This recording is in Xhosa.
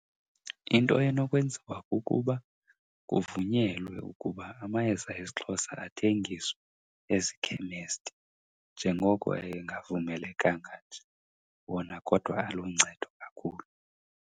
Into enokwenziwa kukuba kuvunyelwe ukuba amayeza esiXhosa athengiswe ezikhemesti. Njengoko engavumelekanga nje, wona kodwa aluncedo kakhulu.